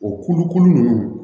O kolo kolo ninnu